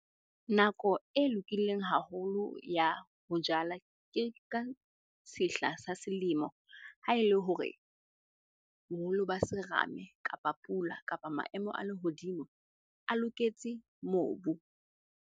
Nako e lokileng haholo ya ho jala, ke ka sehla sa selemo ha e le hore boholo ba serame, kapa pula, kapa maemo a lehodimo a loketse mobu.